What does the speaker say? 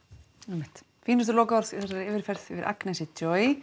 einmitt fínustu lokaorð í þessari yfirferð yfir Agnesi